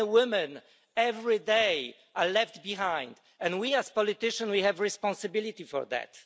So many women every day are left behind, and we as politicians have a responsibility for that.